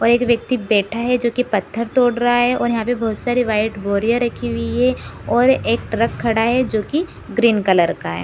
और एक व्यक्ति बैठा है जो की पत्थर तोड़ रहा है और यहाँ पर बहुत सारी व्हाइट बोरियां रखी हुई है और एक ट्रक खड़ा है जो की ग्रीन का है।